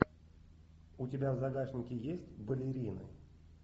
у тебя в загашнике есть балерины